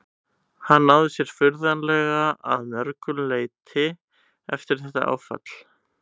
Hann náði sér furðanlega að mörgu leyti eftir þetta áfall.